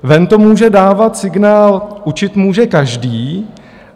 Ven to může dávat signál: učit může každý.